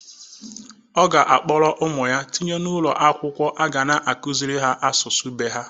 Ọ ga akpọrọ ụmụ ya tinye n'ụlọ akwụkwọ a ga na-akuziri ha asụsụ be ha